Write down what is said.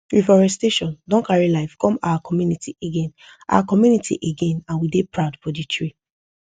reforestation don carry life come our community again our community again and we dey proud for the tree